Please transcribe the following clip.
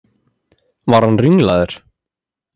Var hann ringlaður?